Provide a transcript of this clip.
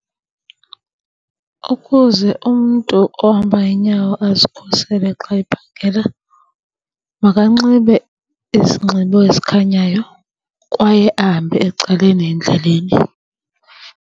Ukuze umntu ohamba ngeenyawo azikhusele xa ephangela makanxibe izinxibo ezikhanyayo kwaye ahambe ecaleni endleleni.